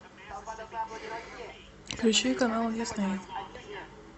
включи канал дисней